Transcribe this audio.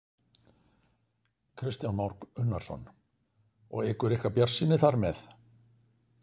Kristján Már Unnarsson: Og eykur ykkar bjartsýni þar með?